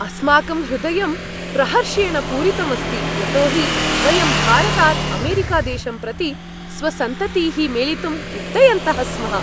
अस्माकं हृदयं प्रहर्षेण पूरितम् अस्ति, यतो हि वयं भारतात् अमेरिकादेशं प्रति स्वसन्ततीः मेलितुम् उड्डयन्तः स्मः।